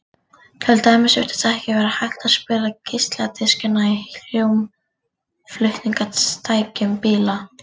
til dæmis virtist ekki vera hægt að spila geisladiskana í hljómflutningstækjum bíla